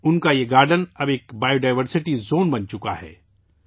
ان کا یہ گارڈن اب بائیو ڈائیورسٹی زون بن چکا ہے